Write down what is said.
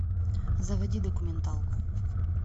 заводи документалку